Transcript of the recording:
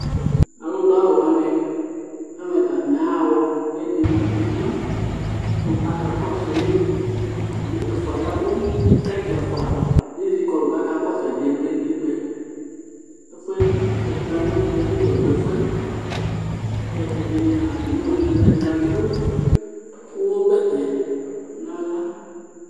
alu duawʊ wani eveta atani aḥa ḥɔ 'k'edi mua emla ku aka kɔsui ɛfua yavũ kɛ ɛfua ezikɔlʊ kakɔsu edie vle nutikpae efue le edini amu ɛkutɛ bi tɔdu efuɛ kɛ ɛdini a atami awʊ wani aduɛ edini adu ũwɔ bɛtɛ